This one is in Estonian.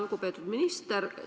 Lugupeetud minister!